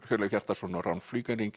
Hjörleif Hjartarson og Rán